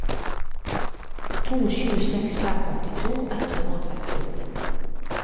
to sju seks fem åttito ett hundre og trettiåtte